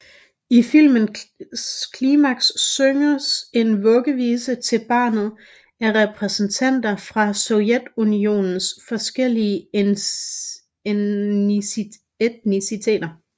I filmens klimaks synges en vuggevise til barnet af repræsentanter fra Sovjetunionens forskellige etniciteter